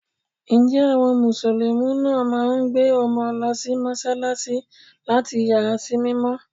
Ǹjẹ́ àwọn musulumi náà máa ń gbé ọmọ lọ sí Mọ́sálásí láti yà á sí mímọ́.